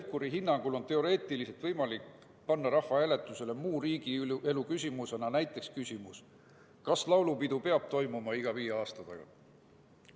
Pevkuri hinnangul on teoreetiliselt võimalik panna muu riigielu küsimusena rahvahääletusele näiteks küsimus, kas laulupidu peab toimuma iga viie aasta tagant.